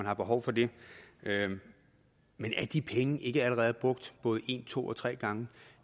er behov for det det men er de penge ikke allerede brugt både en to og tre gange